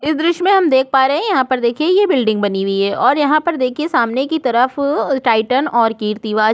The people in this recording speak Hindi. इस दृश्य में हम देख पा रहै हैं यहाँ पर देखिए ये बिल्डिंग बनी हुई है और यहाँ पर देखिए सामने की तरफ टाइटन और के रिवाज --